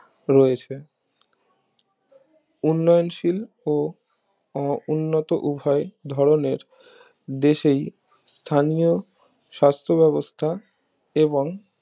রয়েছে উন্নয়নশীল ও উন্নত উভয় ধরণের দেশেই স্থানীয় সাস্থ ব্যবস্থা এবং